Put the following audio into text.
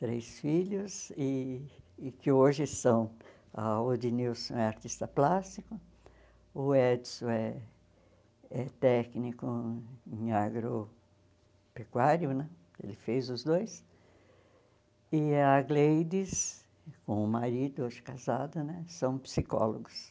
três filhos e que hoje são, ah o Edinilson é artista plástico, o Edson é é técnico em agropecuário né, ele fez os dois, e a Gleides, com o marido hoje casado né, são psicólogos.